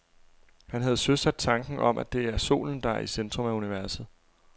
Han havde søsat tanken om, at det er solen, der er i centrum af universet.